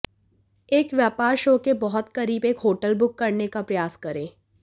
एक व्यापार शो के बहुत करीब एक होटल बुक करने का प्रयास करें